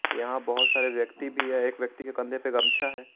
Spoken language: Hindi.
यहां बहुत सारे व्यक्ति भी है एक व्यक्ति के कंधे पर गमछा है।